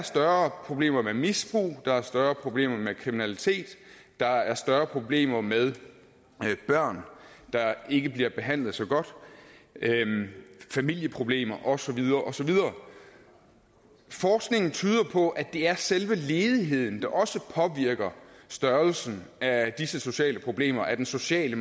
større problemer med misbrug der er større problemer med kriminalitet der er større problemer med børn der ikke bliver behandlet så godt familieproblemer og så videre og så videre forskningen tyder på at det er selve ledigheden der også påvirker størrelsen af disse sociale problemer af den sociale